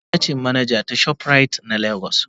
yayata ce manaja ta shoprite na Lagos.